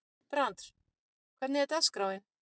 Brandr, hvernig er dagskráin?